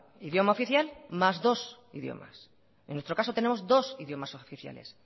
idioma oficial más dos idiomas en nuestro caso tenemos dos idiomas oficiales